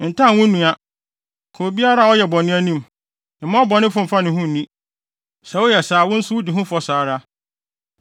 “ ‘Ntan wo nua. Ka obiara a ɔyɛ bɔne anim; mma ɔbɔnefo mfa ne ho nni. Sɛ woyɛ saa a, wo nso wudi ho fɔ saa ara.